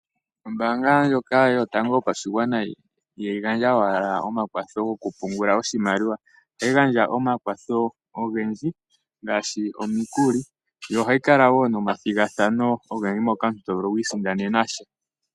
Ombaanga ndjoka yotango yopashigwana ihayi gandja owala omakwatho gokupungula oshimaliwa ,ohayi gandja omakwatho ogendji ngaashi omikuli nohayi kala wo nomathigathano ogendji moka omuntu to vulu okwiisindanena sha.